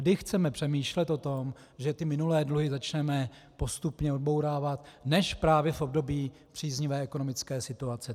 Kdy chceme přemýšlet o tom, že ty minulé dluhy začneme postupně odbourávat, než právě v období příznivé ekonomické situace?